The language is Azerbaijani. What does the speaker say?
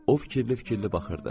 O fikirli-fikirli baxırdı.